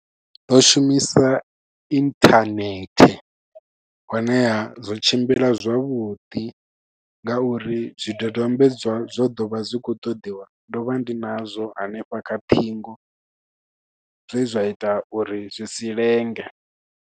Ndo shumisa internet, honeha, zwo tshimbila zwavhuḓi ngauri zwi dodombedzwa zwo ḓovha zwi khou ṱoḓiwa, ndo vha ndi nazwo hanefha kha ṱhingo. Zwe zwa ita uri zwi si lenge.